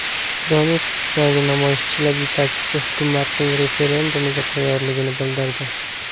Donetskdagi namoyishchilar yetakchisi hukumatning referendumga tayyorligini bildirdi.